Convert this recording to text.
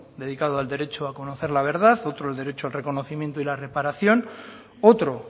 dedicado al derecho a conocer la verdad otro al derecho al reconocimiento y la reparación otro